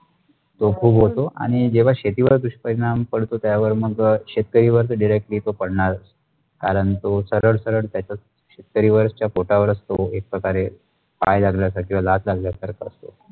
तो खुप होतो आणि जेव्हा शेतीवर दुष्परिणाम पड्तोत त्यावर मग अ शेतकरी वर directly तो पडणार कारण तो सरळ सरळ त्याचेत शेतकऱ्याचा वर पोटावरच तो एक प्रकारे पाय लागल्यासारखं किंवा लात लागल्यासारखं.